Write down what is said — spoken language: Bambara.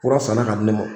Kura sanna ka di ne ma